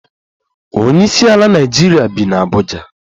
Onyeisiala Naịjirịa bi n'Abuja